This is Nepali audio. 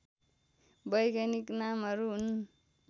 वैज्ञानिक नामहरू हुन्